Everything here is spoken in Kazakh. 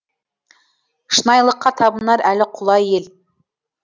шынайылыққа табынар әлі құлай ел